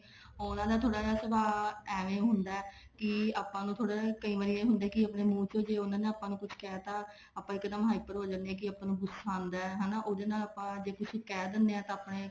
ਉਹਨਾ ਦਾ ਥੋੜਾ ਜਾ ਸੁਭਾ ਏਵੇਂ ਹੁੰਦਾ ਵੀ ਆਪਾਂ ਨੂੰ ਥੋੜਾ ਜਾ ਕਈ ਵਾਰ ਇਹ ਹੁੰਦਾ ਕੇ ਉਹਨਾ ਨੇ ਜੇ ਆਪਾਂ ਨੂੰ ਕੁੱਛ ਕਹਿ ਤਾ ਇੱਕਦਮ hyper ਹੋ ਜਾਂਦੇ ਆ ਕੇ ਆਪਾਂ ਨੂੰ ਗੁਸਾਂ ਆਉਂਦਾ ਉਹਦੇ ਨਾਲ ਆਪਾਂ ਜੇ ਕੁੱਛ ਕਹਿ ਦਿੰਦੇ ਆ ਤਾਂ ਆਪਣੇ